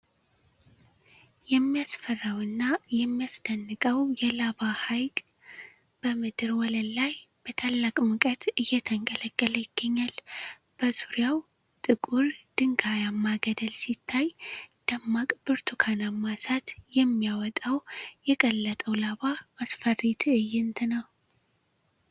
የሚያስፈራው እና የሚያስደንቀው የላቫ ሀይቅ በምድር ወለል ላይ በታላቅ ሙቀት እየተንቀለቀለ ይገኛል። በዙሪያው ጥቁር ድንጋያማ ገደል ሲታይ፣ ደማቅ ብርቱካናማ እሳት የሚያወጣው የቀለጠው ላቫ አስፈሪ ትዕይንት ነው።